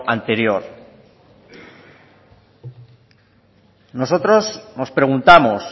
anterior nosotros nos preguntamos